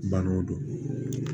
Banaw don